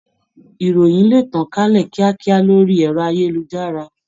Ìròyìn le tàn kálẹ̀ kíákíá lórí ẹ̀rọ-ayélujára.